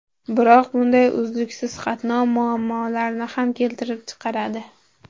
Biroq bunday uzluksiz qatnov muammolarni ham keltirib chiqaradi.